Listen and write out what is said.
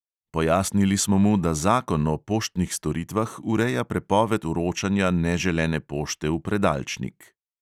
Pojasnili smo mu, da zakon o poštnih storitvah ureja prepoved vročanja neželene pošte v predalčnik.